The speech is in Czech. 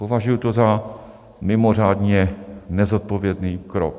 Považuji to za mimořádně nezodpovědný krok.